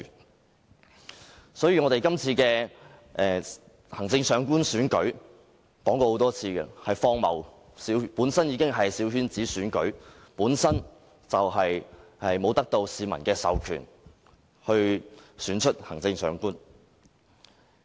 我們已經多次指出，今次行政長官選舉是荒謬的，它本身已是小圈子選舉，沒有得到市民授權而選出行政長官。